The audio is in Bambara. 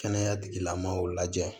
Kɛnɛya tigilamɔgɔw lajɛ